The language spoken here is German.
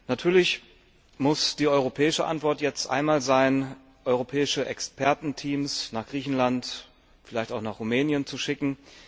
Natürlich muss die europäische Antwort jetzt einmal sein, europäische Expertenteams nach Griechenland, vielleicht auch nach Rumänien zu schicken.